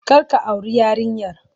Kar ka auri yarinyar!